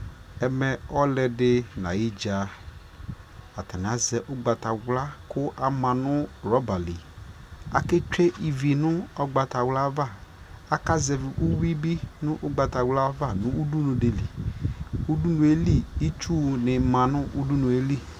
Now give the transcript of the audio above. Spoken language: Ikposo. ɛmɛ ɔlʋɛdi nʋ ayi dza atani azɛ ɔgbatawla kʋ atani ama nʋ rubber li, akɛ twɛ ivi nʋ ɔgbatawla aɣa, aka zɛvi ʋwi bi nʋ ɔgbatawla aɣa nʋ ʋdʋnʋ dili, ʋdʋnʋɛ li itsʋ nimanʋ ʋdʋnʋɛ li